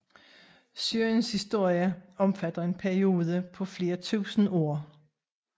Syriens historie omfatter en periode på flere tusinde år